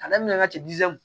A daminɛ ka